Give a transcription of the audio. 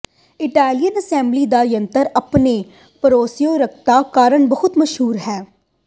Italian assembly ਦਾ ਯੰਤਰ ਆਪਣੀ ਭਰੋਸੇਯੋਗਤਾ ਕਾਰਨ ਬਹੁਤ ਮਸ਼ਹੂਰ ਹੈ